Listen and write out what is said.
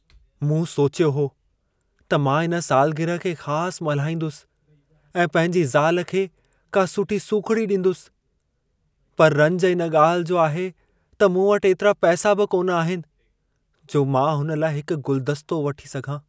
मूं सोचियो हो त मां इन सालग्रह खे ख़ास मल्हाईंदुसि ऐं पंहिंजी ज़ाल खे का सुठी सूख़िड़ी ॾींदुसि, पर रंज इन ॻाल्हि जो आहे त मूं वटि एतिरा पैसा बि कोन आहिनि, जो मां हुन लाइ हिक गुलदस्तो वठी सघां।